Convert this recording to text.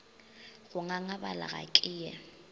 go ngangabala ga ke ye